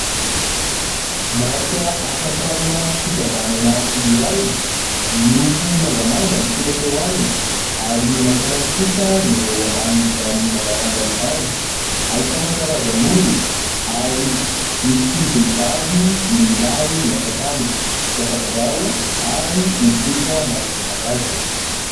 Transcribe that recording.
Marika ahafantarana fikambanana iray miloko mangamanga ny soratra eo aminy ary maintimainty kosa ny ho eo ambanin'izany mangamanga izany, ahitana karazan'olona ary misy vehivavy sy lehilahy miasa tany, mpiasa birao ary olon-tsotra maro isan-karazany.